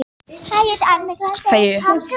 Hann er góður í að skemma spil andstæðinganna.